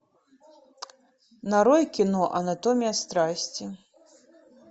нарой кино анатомия страсти